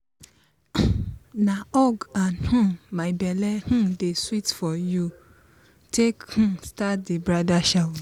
na hug and um "my belle um dey seet for you" take um start di bridal shower.